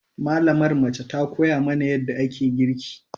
Malamar mace ta koya mana yadda ake girki.